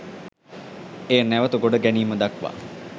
එය නැවත ගොඩ ගැනීම දක්වා